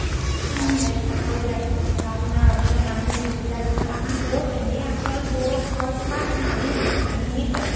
চাকৰী দাকৰী পঢ়া শুনা option মানুহ বিলাক , আমাৰ বৌ এনে বৌ আচল ঘৰ তোমাৰ মালিনী অনিনিৰ ফালে